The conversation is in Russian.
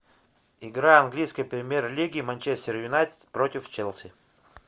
игра английской премьер лиги манчестер юнайтед против челси